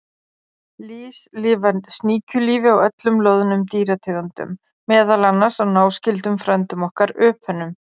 Lýs lifa sníkjulífi á öllum loðnum dýrategundum, meðal annars á náskyldum frændum okkar, öpunum.